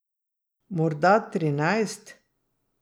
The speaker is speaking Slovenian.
Morda trinajst.